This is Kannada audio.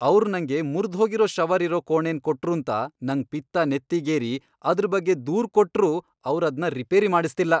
ಅವ್ರ್ ನಂಗೆ ಮುರ್ದ್ಹೋಗಿರೋ ಶವರ್ ಇರೋ ಕೋಣೆನ್ ಕೊಟ್ರೂಂತ ನಂಗ್ ಪಿತ್ತ ನೆತ್ತಿಗೇರಿ ಅದ್ರ್ ಬಗ್ಗೆ ದೂರ್ ಕೊಟ್ರೂ ಅವ್ರದ್ನ ರಿಪೇರಿ ಮಾಡಿಸ್ತಿಲ್ಲ.